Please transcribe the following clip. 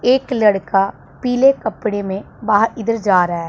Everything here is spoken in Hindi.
एक लड़का पीले कपड़े में बाहर इधर जा रहा है।